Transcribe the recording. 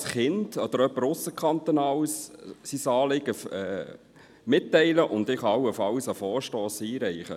Auch ein Kind oder jemand von ausserhalb des Kantons kann sein Anliegen mitteilen, und ich kann dann allenfalls einen Vorstoss einreichen.